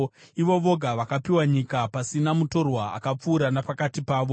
ivo voga vakapiwa nyika pasina mutorwa akapfuura napakati pavo: